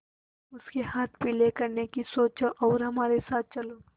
उसके हाथ पीले करने की सोचो और हमारे साथ चलो